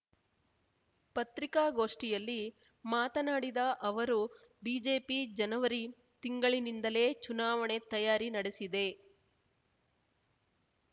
ಪತ್ರಿಕಾಗೋಷ್ಠಿಯಲ್ಲಿ ಮಾತನಾಡಿದ ಅವರು ಬಿಜೆಪಿ ಜನವರಿ ತಿಂಗಳಿನಿಂದಲೇ ಚುನಾವಣೆ ತಯಾರಿ ನಡೆಸಿದೆ